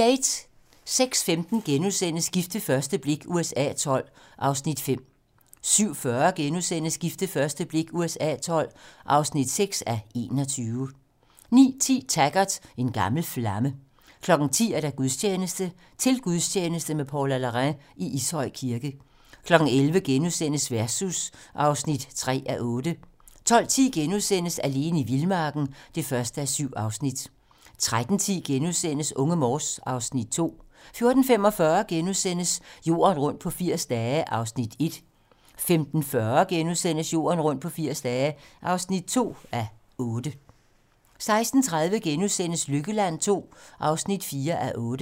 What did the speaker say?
06:15: Gift ved første blik USA XII (5:21)* 07:40: Gift ved første blik USA XII (6:21)* 09:10: Taggart: En gammel flamme 10:00: Gudstjeneste: Til gudstjeneste med Paula Larrain i Ishøj Kirke 11:00: Versus (3:8)* 12:10: Alene i vildmarken (1:7)* 13:10: Unge Morse (Afs. 2)* 14:45: Jorden rundt på 80 dage (1:8)* 15:40: Jorden rundt på 80 dage (2:8)* 16:30: Lykkeland II (4:8)*